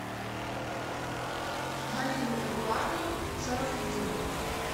галину эдуардовну шарафутдинову